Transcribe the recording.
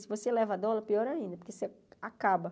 Se você leva dólar, pior ainda, que você acaba.